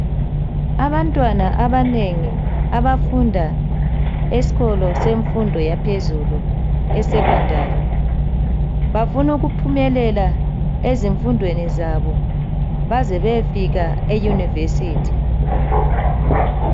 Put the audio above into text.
Abantwana abanengi abafunda esikolo semfundo yaphezulu e Secondary bafunu ukuphumelela ezifundweni zabo baze bayefika e University.